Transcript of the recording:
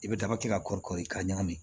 I bɛ daba kɛ ka kɔrɔ i k'a ɲagami